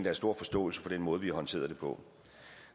er stor forståelse for den måde vi har håndteret det på